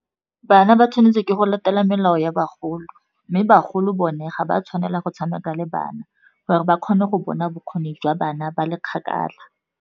Bana ba tshwanetse ke go latela melao ya bagolo, mme bagolo bone ga ba tshwanela go tshameka le bana gore ba kgone go bona bokgoni jwa bana ba le kgakala.